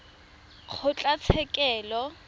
kgotlatshekelo